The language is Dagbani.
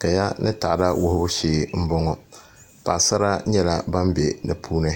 Kaya ni taada wuhubu shee n bɔŋɔ paɣasara nyɛla ban bɛ di puuni